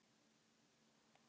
Það eru ekki mín orð.